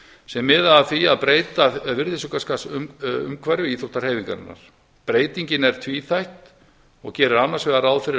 sem miða að því að breyta virðisaukaskattsumhverfi íþróttahreyfingarinnar breytingin er tvíþætt og gerir annars vegar ráð fyrir að